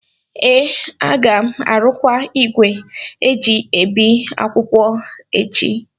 ee, a ga m arụkwa igwe eji ebi akwụkwọ a echi